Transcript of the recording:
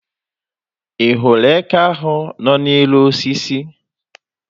Ị hụrụ eke ahụ nọ n'elu osisi?